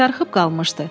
Karxıb qalmışdı.